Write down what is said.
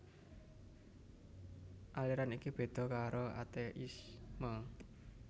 Aliran iki béda karo ateisme